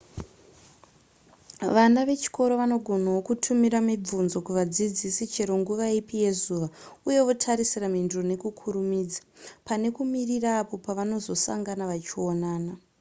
vana vechikoro vanogonawo kutumira mibvunzo kuvadzidzisi chero nguva ipi yezuva uye votarisira mhinduro nekukurumidza pane kumirira apo pavanozosangana vachionana